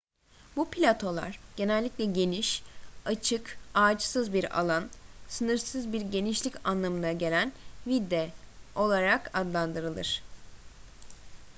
bu platolar genellikle geniş açık ağaçsız bir alan sınırsız bir genişlik anlamına gelen vidde olarak adlandırılır